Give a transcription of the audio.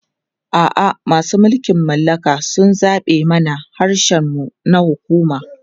A'a, masu mulkin mallaka sun zaɓe mana harshen mu na hukuma.